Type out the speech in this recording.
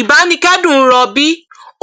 ìbánikẹdùn ń rọ bíi